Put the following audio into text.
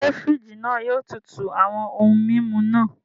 Ṣe firiji náà yóò tútù awọn ohùn mímú náà?